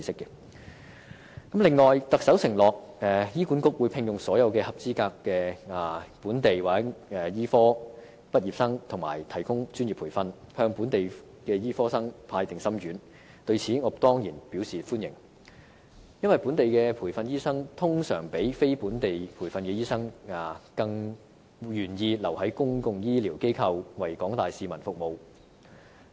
此外，特首承諾醫管局會聘用所有合資格本地醫科畢業生和提供專業培訓，向本地醫科生派"定心丸"，對此，我當然表示歡迎，因為本地培訓的醫生通常比非本地培訓的醫生更願意留在公共醫療機構為廣大市民服務。